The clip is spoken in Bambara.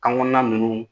Kan kɔnɔna ninnu